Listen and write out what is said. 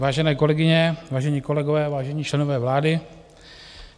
Vážené kolegyně, vážení kolegové, vážení členové vlády.